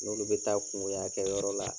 N'olu bɛ taa kungoya kɛ yɔrɔ la.